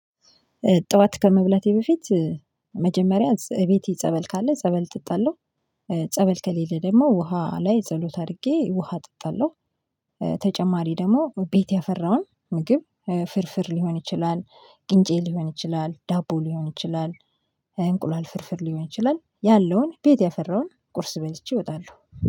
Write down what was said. ጠዋት ከመብላቴ በፊት መጀመሪያ እቤቴ ጸበል ካለ ጸበል እጠጣላው፤ ጸበል ከሌለ ደግሞ ውሃ ላይ ጸሎት አድርጌ ውሃ እ ጠጣለሁ። ተጨማሪ ደግሞ ቤት ያፈራውን ምግብ ፍርፍር ሊሆን ይችላል፤ ቅንጬ ሊሆን ይችላል፤ ዳቦ ሊሆን ይችላል፤ እንቁላል ፍርፍር ሊሆን ይችላል፤ ያለውን ቤት ያፈራውን ቁርስ በልቼ እወጣለሁ።